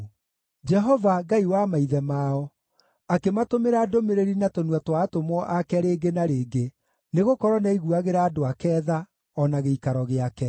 Jehova, Ngai wa maithe mao, akĩmatũmĩra ndũmĩrĩri na tũnua twa atũmwo ake rĩngĩ na rĩngĩ, nĩgũkorwo nĩaiguagĩra andũ ake tha, o na gĩikaro gĩake.